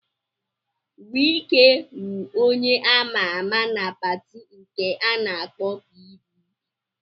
Wike wụ onye a ma-ama na pati nke a na-akpọ PDP.